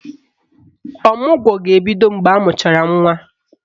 Ọmụgwọ ga-ebido mgbe amụchara nwa.